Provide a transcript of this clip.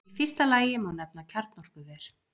Í fyrsta lagi má nefna kjarnorkuver.